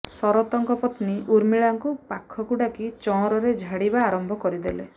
ଶରତଙ୍କ ପତ୍ନୀ ଉର୍ମିଳାଙ୍କୁ ପାଖକୁ ଡାକି ଚଅଁରରେ ଝାଡିବା ଆରମ୍ଭ କରିଦେଲେ